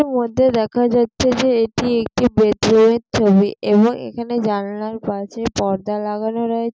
মধ্যে দেখা যাচ্ছে যে এটি একটি বেডরুম এর ছবি এবং এখানে জানালার পাশে পর্দা লাগানো রয়েছে।